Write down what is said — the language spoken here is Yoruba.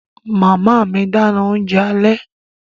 Màmá mi dáná oúnjẹ alẹ́